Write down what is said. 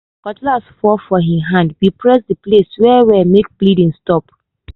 cutlass fall comot for hin hand we press the place well well make bleeding stop.